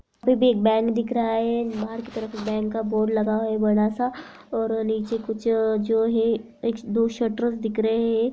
एक बैंक दिख रहा है बाहर की तरफ एक बैंक का बोर्ड लग हुआ है बड़ा सा और नीचे कुछ अ-जो है दो शटर्स दिख रहे हैं।